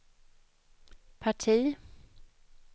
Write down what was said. parti